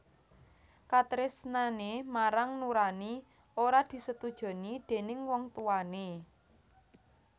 Katresnané marang Nuraini ora disetujoni déning wong tuwané